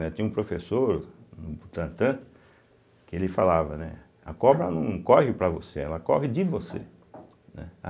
Tinha um professor no Butantan que ele falava, né, a cobra não corre para você, ela corre de você, né